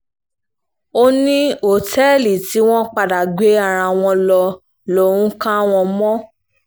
ó ní òtẹ́ẹ̀lì tí wọ́n padà gbé ara wọn lọ lòún kà wọ́n mọ́